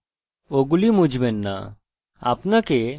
আপনাকে শুধু নতুন ডেটাবেস বানাতে হবে